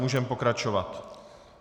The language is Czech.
Můžeme pokračovat.